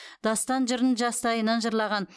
дастан жырын жастайынан жырлаған